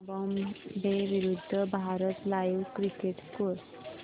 Zimbabwe विरूद्ध Bharat live cricket score